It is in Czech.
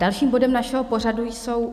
Další bodem našeho pořadu jsou